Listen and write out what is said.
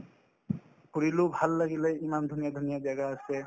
ঘূৰিলো ভাল লাগিলে ইমান ধুনীয়া ধুনীয়া জাগা আছে